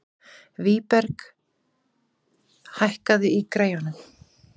Vígberg, hækkaðu í græjunum.